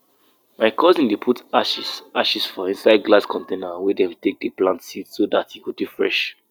we dey always we dey always avoid to wear red cloth as harvest sacrifice dey happen unless say dem tell us another thing.